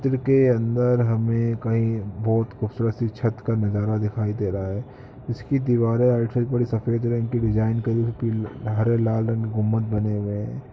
चित्र के अन्दर हमें कई बहुत खूबसूरत सी छत का नजारा दिखाई दे रहा है जिसकी दीवारें साइड बड़ी सफ़ेद रंग की डिजाईन करी हुई पीले हरे लाल रंग के गुम्बद बने हुए है।